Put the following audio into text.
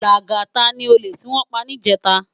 Lagata ni ólè tiwòn pá nijètá